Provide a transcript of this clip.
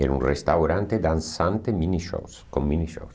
Era um restaurante dançante mini-shows com mini-shows.